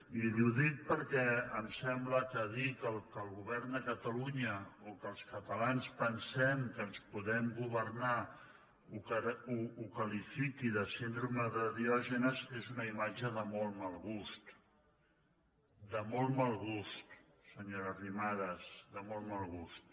i li ho dic perquè em sembla que dir que el fet que el govern de catalunya o que els catalans pensem que ens podem governar ho qualifiqui de síndrome de di·ògenes és una imatge de molt mal gust de molt mal gust senyora arrimadas de molt mal gust